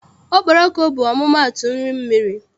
Okporoko bụ ọmụmaatụ nri mmiri.